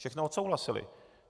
Všechno odsouhlasili.